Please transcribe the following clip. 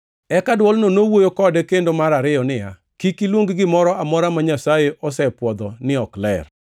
Eka dwolno nowuoyo kode kendo mar ariyo niya, “Kik iluong gimoro amora ma Nyasaye osepwodho ni ok ler.”